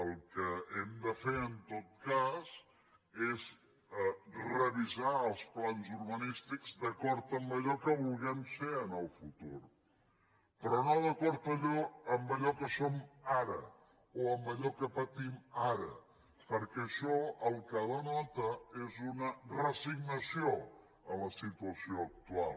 el que hem de fer en tot cas és revisar els plans urbanístics d’acord amb allò que vulguem ser en el futur però no d’acord amb allò que som ara o amb allò que patim ara perquè això el que denota és una resignació a la situació actual